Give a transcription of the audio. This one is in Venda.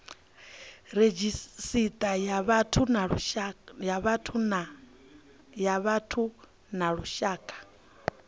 redzhisita ya vhathu ya lushaka